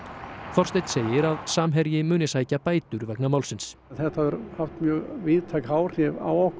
Þorsteinn segir að Samherji muni sækja bætur vegna málsins þetta hefur haft mjög víðtæk áhrif á okkur